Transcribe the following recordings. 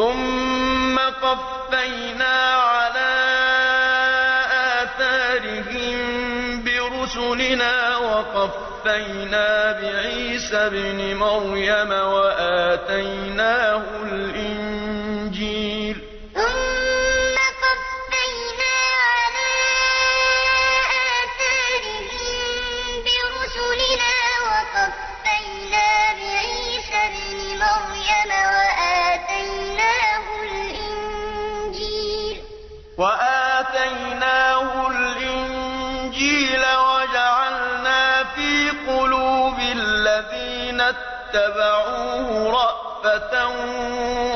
ثُمَّ قَفَّيْنَا عَلَىٰ آثَارِهِم بِرُسُلِنَا وَقَفَّيْنَا بِعِيسَى ابْنِ مَرْيَمَ وَآتَيْنَاهُ الْإِنجِيلَ وَجَعَلْنَا فِي قُلُوبِ الَّذِينَ اتَّبَعُوهُ رَأْفَةً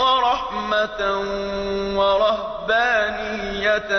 وَرَحْمَةً وَرَهْبَانِيَّةً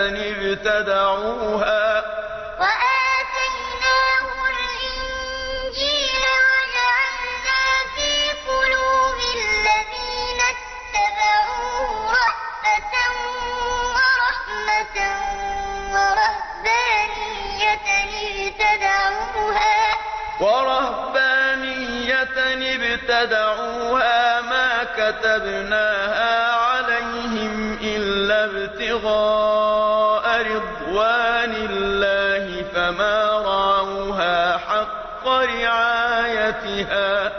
ابْتَدَعُوهَا مَا كَتَبْنَاهَا عَلَيْهِمْ إِلَّا ابْتِغَاءَ رِضْوَانِ اللَّهِ فَمَا رَعَوْهَا حَقَّ رِعَايَتِهَا ۖ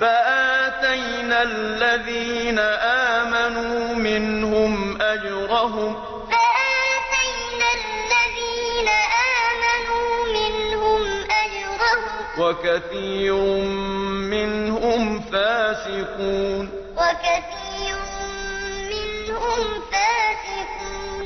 فَآتَيْنَا الَّذِينَ آمَنُوا مِنْهُمْ أَجْرَهُمْ ۖ وَكَثِيرٌ مِّنْهُمْ فَاسِقُونَ ثُمَّ قَفَّيْنَا عَلَىٰ آثَارِهِم بِرُسُلِنَا وَقَفَّيْنَا بِعِيسَى ابْنِ مَرْيَمَ وَآتَيْنَاهُ الْإِنجِيلَ وَجَعَلْنَا فِي قُلُوبِ الَّذِينَ اتَّبَعُوهُ رَأْفَةً وَرَحْمَةً وَرَهْبَانِيَّةً ابْتَدَعُوهَا مَا كَتَبْنَاهَا عَلَيْهِمْ إِلَّا ابْتِغَاءَ رِضْوَانِ اللَّهِ فَمَا رَعَوْهَا حَقَّ رِعَايَتِهَا ۖ فَآتَيْنَا الَّذِينَ آمَنُوا مِنْهُمْ أَجْرَهُمْ ۖ وَكَثِيرٌ مِّنْهُمْ فَاسِقُونَ